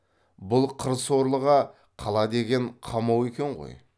бұл қыр сорлыға қала деген қамау екен ғой